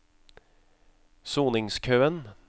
soningskøen